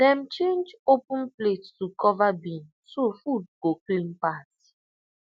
dem change open plate to cover bin so food go pass